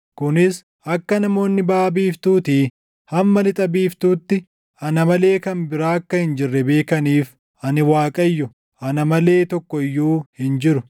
Kunis akka namoonni baʼa biiftuutii hamma lixa biiftuutti, ana malee kan biraa akka hin jirre beekaniif. Ani Waaqayyo; ana malee tokko iyyuu hin jiru.